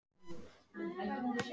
Þar segir í texta.